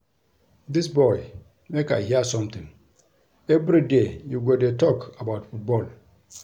Dis boy make I hear something everyday you go dey talk about football